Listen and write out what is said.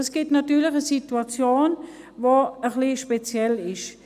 Dies ergibt natürlich eine Situation, die ein bisschen speziell ist.